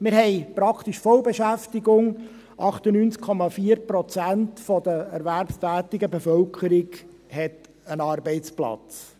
Wir haben praktisch Vollbeschäftigung: 98,4 Prozent der erwerbstätigen Bevölkerung hat einen Arbeitsplatz.